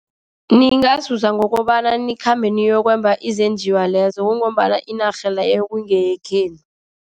Ningazuza ngokobana nikhambe niyokwemba izenjiwa lezo, kungombana iinarha leyo kungeyekhenu.